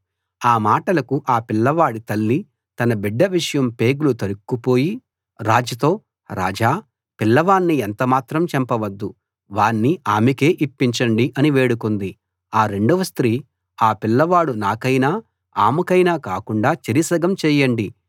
ఆ మాటలకు ఆ పిల్లవాడి తల్లి తన బిడ్డ విషయం పేగులు తరుక్కుపోయి రాజుతో రాజా పిల్లవాణ్ణి ఎంతమాత్రం చంపవద్దు వాణ్ణి ఆమెకే ఇప్పించండి అని వేడుకుంది ఆ రెండవ స్త్రీ ఆ పిల్లవాడు నాకైనా ఆమెకైనా కాకుండా చెరి సగం చేయండి అంది